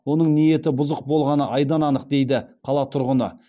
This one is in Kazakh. оның ниеті бұзық болғаны айдан анық дейді қала тұрғыны